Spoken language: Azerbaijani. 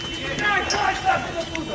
Dayan, dayan, dayan ora!